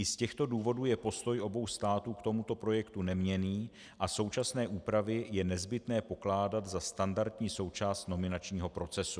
I z těchto důvodů je postoj obou států k tomuto projektu neměnný a současné úpravy je nezbytné pokládat za standardní součást nominačního procesu.